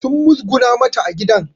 Sun muzguna mata a gidan